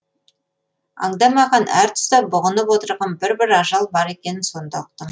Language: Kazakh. аңдамаған әр тұста бұғынып отырған бір бір ажал бар екенін сонда ұқтым